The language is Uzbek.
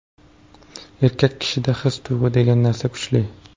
Erkak kishida his-tuyg‘u degan narsalar kuchli.